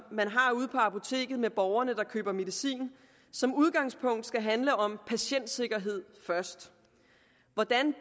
har ude på apoteket med borgerne der køber medicin som udgangspunkt skal handle om patientsikkerhed først hvordan